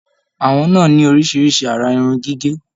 Àwọn náà ní oríṣiríṣi àrà irun gígé.